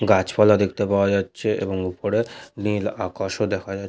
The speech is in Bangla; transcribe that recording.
গাছপালা দেখতে পাওয়া যাচ্ছে এবং উপরে নীল আকাশ ও দেখা যা--